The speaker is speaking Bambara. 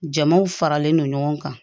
Jamaw faralen no ɲɔgɔn kan